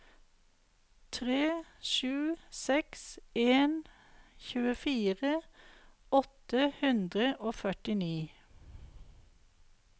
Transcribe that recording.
tre sju seks en tjuefire åtte hundre og førtini